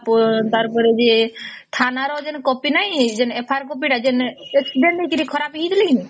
ତାର ପରେ ବି ଥାନା ର ଜଣେ କପି ନାହିଁ FIR କପି ତ ଯେଣେ accident ହେଇକି ଖରାପ ହେଇଗଲେ କି ନାଇଁ